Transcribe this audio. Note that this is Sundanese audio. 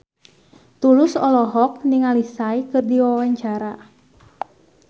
Tulus olohok ningali Psy keur diwawancara